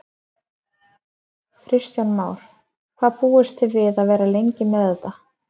Kristján Már: Hvað búist þið við að vera lengi með þetta?